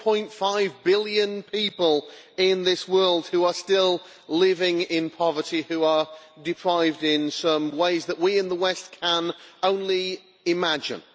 1.5 billion people in this world who are still living in poverty, who are deprived in ways that we in the West can only imagine.